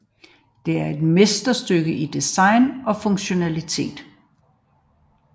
Det er et mesterstykke i design og funktionalitet